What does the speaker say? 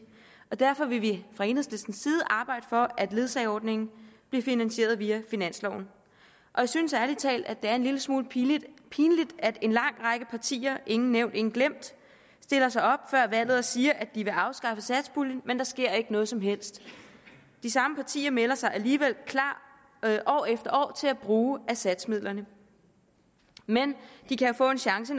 derfor vil vi fra enhedslistens side arbejde for at ledsageordningen bliver finansieret via finansloven jeg synes ærlig talt det er en lille smule pinligt at en lang række partier ingen nævnt ingen glemt stiller sig op før valget og siger at de vil afskaffe satspuljen men der sker ikke noget som helst de samme partier melder sig alligevel klar år efter år til at bruge af satsmidlerne men de kan jo få en chance